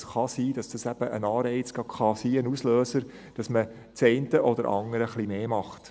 Es kann sein, dass das eben ein Anreiz sein kann, ein Auslöser, damit man das eine oder andere mehr macht.